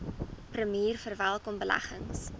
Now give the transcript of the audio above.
premier verwelkom beleggings